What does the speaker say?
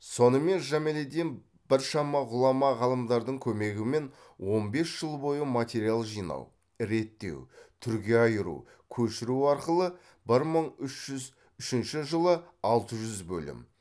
сонымен жамелиддин біршама ғұлама ғалымдардың көмегімен он бес жыл бойы материал жинау реттеу түрге айыру көшіру арқылы бір мың үш жүз үшінші жылы алты жүз бөлім